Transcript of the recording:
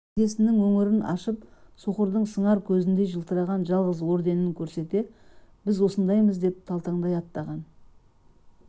жейдесінің өңірін ашып соқырдың сыңар көзіндей жылтыраған жалғыз орденін көрсете біз осындаймыз деген талтаңдай аттаған